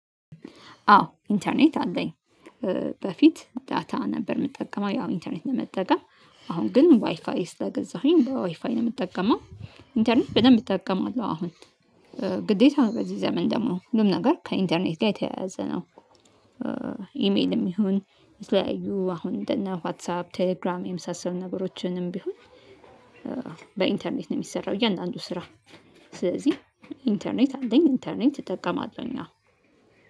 አዎ ኢንተርኔት አለኝ። በፊት ዳታ ነበር የምጠቀመው ያው ኢንተርኔት ለመጠቀም አሁን ግን ዋይፋይ ስለገዛሁኝ በዋይፋይ ነው የምጠቀመው። ኢንተርኔት በደንብ እጠቀማለሁ አሁን ግዴታ በዚህ ዘመን ደግሞ ሁሉም ነገር ከኢንተርኔት ጋር የተያያዘ ነው። ኢሜልም ይሁን የተለያዩ አሁን እንደ እና ዋትሳፕ ቴሌግራም የምሳሰሉ ነገሮችንም ቢሆን። በኢንተርኔት ነው የሚሰራው እያንዳንዱ ስራ ስለዚህ ኢንተርኔት አለኝ ኢንተርኔት እጠቀማለሁኝ አሁን።